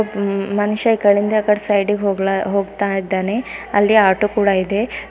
ಮನುಷ್ಯ ಈ ಕಡೆಯಿಂದ ಆ ಕಡೆ ಸೈಡಿಗ್ ಹೋಗ್ಲ ಹೋಗ್ತಾ ಇದ್ದಾನೆ ಅಲ್ಲಿ ಆಟೋ ಕೂಡ ಇದೆ.